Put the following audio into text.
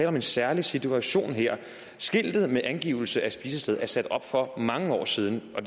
om en særlig situation her skiltet med angivelse af spisestedet er sat op for mange år siden og